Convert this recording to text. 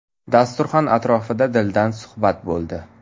Dasturxon atrofida dildan suhbat bo‘ldi .